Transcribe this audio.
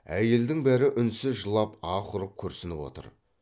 әйелдің бәрі үнсіз жылап аһ ұрып күрсініп отыр